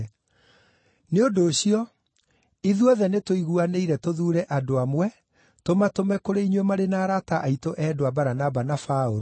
Nĩ ũndũ ũcio, ithuothe nĩtũiguanĩire tũthuure andũ amwe tũmatũme kũrĩ inyuĩ marĩ na arata aitũ endwa, Baranaba na Paũlũ,